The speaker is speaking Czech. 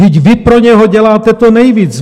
Vždyť vy pro něho děláte to nejvíc.